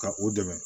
Ka u dɛmɛ